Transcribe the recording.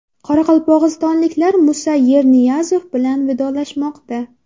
Qoraqalpog‘istonliklar Musa Yerniyazov bilan vidolashmoqda.